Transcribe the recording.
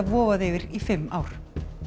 vofað yfir í fimm ár